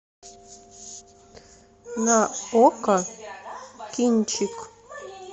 на окко кинчик